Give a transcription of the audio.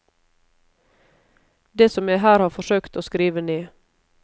Det som jeg her har forsøkt å skrive ned.